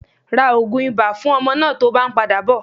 Ra ogun ibà fún ọmọ náà tó bá ń padà bò.